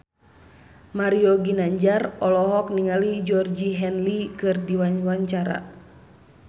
Mario Ginanjar olohok ningali Georgie Henley keur diwawancara